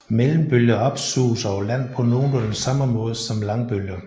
Mellembølger opsuges over land på nogenlunde samme måde som langbølger